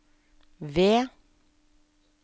V